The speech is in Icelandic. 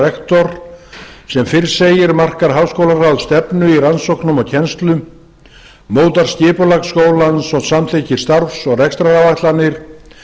rektor sem fyrr segir markar háskólaráð stefnu í rannsóknum og kennslu mótar skipulag skólans og samþykkir starfs og rekstraráætlanir